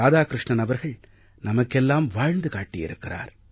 இராதாகிருஷ்ணன் அவர்கள் நமக்கெல்லாம் வாழ்ந்து காட்டியிருக்கிறார்